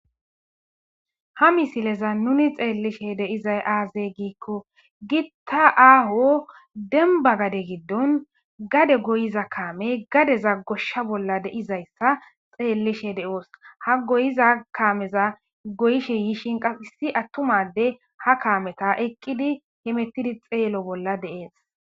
ha misileza nuni xeellishe deiza aazey giikko gitta aaho denba gade giddon gade goyiza kaame gadeza goshsha bolla deizayssa xeellishe de7oos ha goyiza kaameza goyishe yiishin qas issi attumade ha kaameta eqqidi hemettidi xeelo bolla deees